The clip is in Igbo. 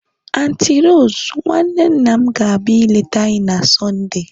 Anti Rose, nwanne nna m gabia ileta anyi na Sundee